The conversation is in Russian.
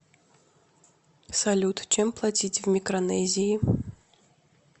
салют чем платить в микронезии